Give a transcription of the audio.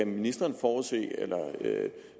ministeren